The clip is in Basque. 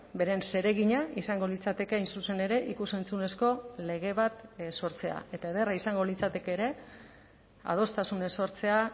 beren zeregina izango litzateke hain zuzen ere ikus entzunezko lege bat sortzea eta ederra izango litzateke ere adostasunez sortzea